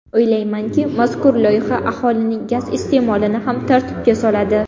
O‘ylaymanki, mazkur loyiha aholining gaz iste’molini ham tartibga soladi”.